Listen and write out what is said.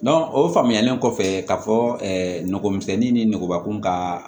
o faamuyalen kɔfɛ ka fɔ nogomisɛnnin ni nɛgɛkɔrɔbakun ka